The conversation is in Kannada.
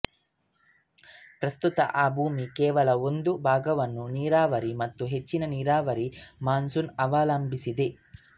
ಪ್ರಸ್ತುತ ಆ ಭೂಮಿ ಕೇವಲ ಒಂದು ಭಾಗವನ್ನು ನೀರಾವರಿ ಮತ್ತು ಹೆಚ್ಚಿನ ನೀರಾವರಿ ಮಾನ್ಸೂನ್ ಅವಲಂಬಿಸಿದೆ